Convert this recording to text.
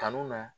Kanu na